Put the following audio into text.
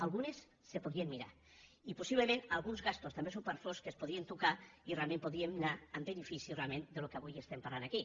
algunes se podrien mirar i possiblement algunes despeses també supèrflues es podrien tocar i realment podríem anar en benefici del que avui estem parlant aquí